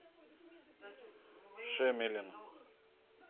шемелин